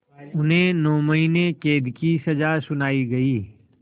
उन्हें नौ महीने क़ैद की सज़ा सुनाई गई